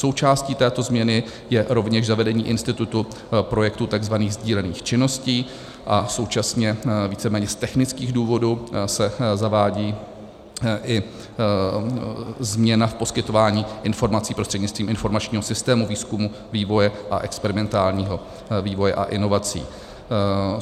Součástí této změny je rovněž zavedení institutu projektu tzv. sdílených činností a současně víceméně z technických důvodů se zavádí i změna v poskytování informací prostřednictvím informačního systému výzkumu, vývoje a experimentálního vývoje a inovací.